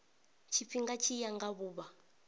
tshifhinga tshi ya nga vhuvha